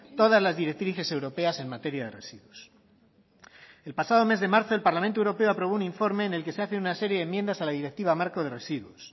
todas las directrices europeas en materia de residuos el pasado mes de marzo el parlamento europeo aprobó un informe en el que se hace una serie de enmiendas a la directiva marco de residuos